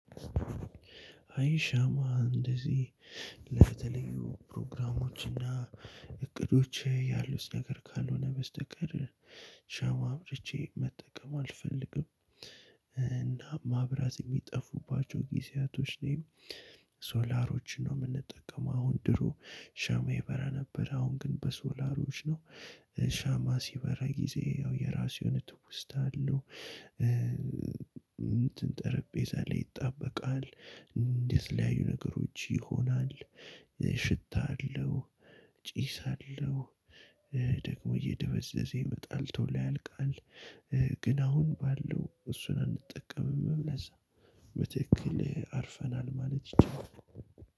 አይ ሻማ እንደዚህ ለተለያዩ ፕሮግራሞች እና እቅዶች ያሉት ነገር ካልሆነ በስተቀር ሻማ አብርቼ መጠቀም አልፈልግም። መብራት የሚጠፉባቸው ጊዜያቶች ላይም ሶላሮችን ነው የምንጠቀመው። አሁን ድሮ ሻማ ይበራ ነበር አሁን ግን በሶላሮች ነው። ሻማ ሲበራ ጊዜ ያው የራሱ የሆነ ትውስታ አለው። እንትን ጠረጴዛ ላይ ይጣበቃል። ለተለያዩ ነገሮች ይሆናል። ሽታ አለው። ጪስ አለው። ደግሞ እየደበዘዘ ይመጣል ቶሎ ያልቃል። ግን አሁን ባለው እሱን አንጠቀምም ለዛ በትክክል አርፈናል ማለት ይቻላል።